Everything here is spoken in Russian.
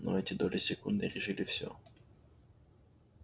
но эти доли секунды решили всё